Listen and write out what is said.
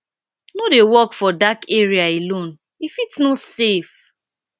no dey walk for dark area alone e fit no safe